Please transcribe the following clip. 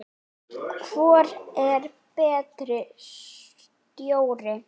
Hvor er betri stjóri?